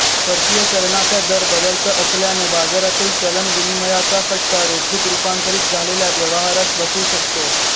परकीय चलनाचा दर बदलता असल्याने बाजारातील चलन विनिमयाचा फटका रोखीत रूपांतरित झालेल्या व्यवहारास बसू शकतो